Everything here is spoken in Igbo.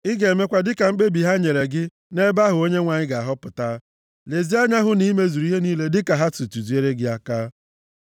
Ị ga-emekwa dịka mkpebi ha nyere gị nʼebe ahụ Onyenwe anyị ga-ahọpụta. Lezie anya hụ na i mezuru ihe niile dịka ha si tụziere gị aka.